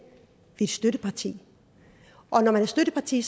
vi støtteparti og når man er støtteparti